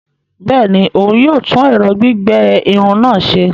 Bẹẹni, òún yóò tún ẹrọ gbigbẹ Irun náà ṣe